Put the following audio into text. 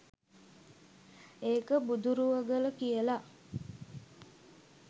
ඒක බුදුරුවගල කියලා.